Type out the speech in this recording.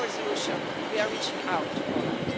With our resolution, we are reaching out to Poland.